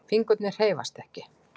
Fingurnir hreyfast ekki.